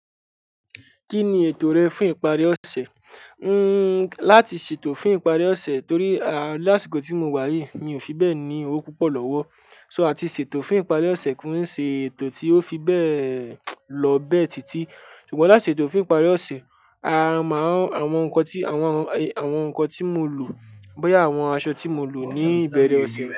Kí ni ètò rẹ fún ìparí ọ̀sẹ̀? Nii, láti ṣètò fún ìparí ọ̀sẹ̀ torí a láṣikò tí mo wá yìí mi ò fibẹ́ẹ̀ ní owó púpọ̀ lọ́wọ́. So ati ṣètò fún ìparí ọ̀sẹ̀ kin sì ètò tí ó fi bẹ́ẹ̀ lọ bẹ́ẹ̀ tìtì. Ṣùgbọ́n láti ṣètò fún ìparí ọ̀sẹ̀, a máa n àwọn nǹkan tí, àwọn, àwọn nǹkan tí mo lò, bóyá àwọn aṣọ tí mo lò ní ìbẹ̀rẹ̀ ọ̀sẹ̀